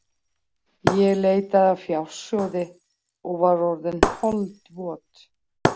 Ég leitaði að fjársjóði og var orðin holdvot.